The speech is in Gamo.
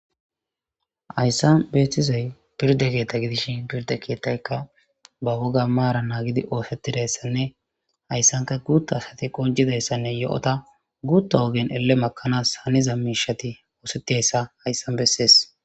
hayssan beeththizay pirde keetha gidishin pirde keethaykka ba woga maara naagidi oosettidayssanne hayssanka guutta asati qoncidayssanne yo'ota guutta ogen elle makanaas haniza miishati oosettiyassa hayssan bessees.